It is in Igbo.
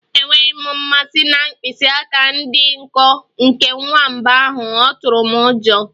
Enweghị m mmasị na mkpịsị aka dị nkọ nke nwamba ahụ, ọ tụrụ m ụjọ.